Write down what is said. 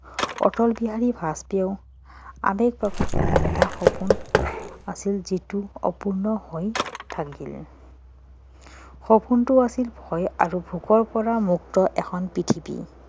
অটল বিহাৰী বাজপেয়ীয়ে আবেগ প্ৰকাশ কৰি এটা সপোন আছিল যিটো অপূৰ্ণ হৈ থাকিল সপোনটো আছিল ভয় আৰু ভোকৰ পৰা মুক্ত এখন পৃথিৱী